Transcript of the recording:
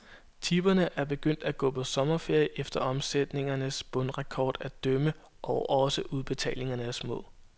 Tipperne er begyndt at gå på sommerferie efter omsætningernes bundrekorder at dømme, og også udbetalingerne er små.